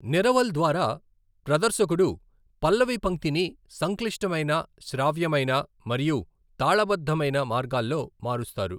నిరవల్ ద్వారా, ప్రదర్శకుడు పల్లవి పంక్తిని సంక్లిష్టమైన శ్రావ్యమైన మరియు తాళబద్ధమైన మార్గాల్లో మారుస్తారు.